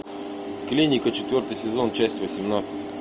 клиника четвертый сезон часть восемнадцать